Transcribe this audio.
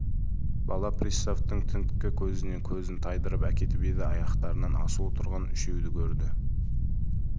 бала приставтың тінткі көзінен көзін тайдырып әкетіп еді аяқтарынан асулы тұрған үшеуді көрді